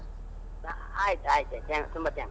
ಆಯ್ತು ಆಯ್ತು ಆಯ್ತು, ತುಂಬಾ thanks .